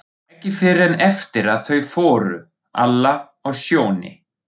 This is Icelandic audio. Ekki fyrr en eftir að þau fóru, Alla og Sjóni.